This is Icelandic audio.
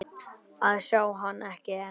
að sjá hann, ekki enn.